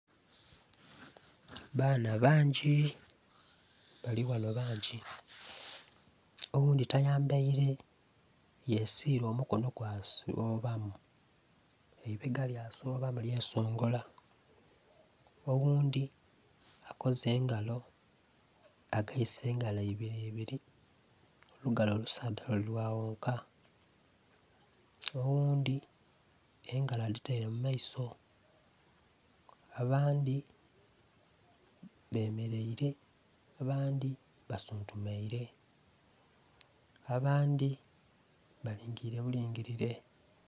Baana bangyii balighano bangyi oghundhi tayambere yesiire omukono gwasoobamu eibega lyasoobamu lyesongala owundhi akoze engalo ageise engalo ibiribiri olugalo olusaadha lulighaghoka owundhi engalo aditere mumaiso abandi bamereire abandi basuuntumaire abandi balingirire bulingirire